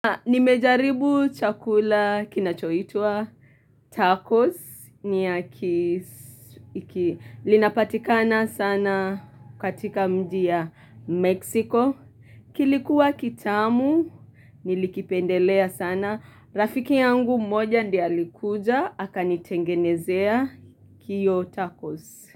Nimejaribu chakula kinachoitwa tacos Linapatikana sana katika mji ya Meksiko kilikuwa kitamu, nilikipendelea sana Rafiki yangu mmoja ndiye alikuja, aka nitengenezea iyo tacos.